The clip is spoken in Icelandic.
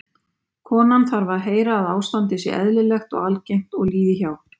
konan þarf að heyra að ástandið sé eðlilegt og algengt og líði hjá